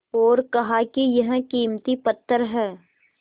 और कहा कि यह कीमती पत्थर है